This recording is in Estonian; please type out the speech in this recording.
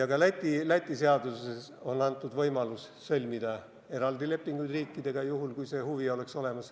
Ja ka Läti seaduses on antud võimalus sõlmida eraldi lepinguid riikidega, kui see huvi peaks olemas olema.